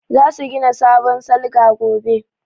Za su gina sabon salga gobe